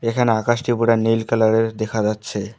এখানে আকাশটি পুরা নীল কালার -এর দেখা যাচ্ছে।